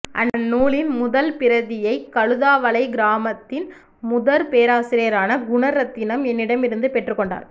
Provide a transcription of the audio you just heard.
அந்நுலின் முதற் பிரதியை கழுதாவளை கிராமத்தின் முதற் பேராசிரியரான குணரத்தினம் என்னிடமிருந்து பெற்றுக் கொண்டார்